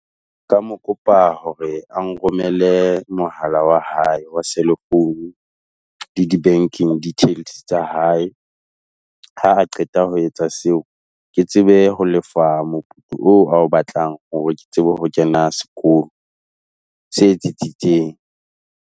Ka mo kopa hore a nromele mohala wa hae wa selefounu le di-banking details tsa hae. Ha a qeta ho etsa seo, ke tsebe ho lefa moputso oo, ao batlang hore ke tsebe ho kena sekolo se tsetsitseng.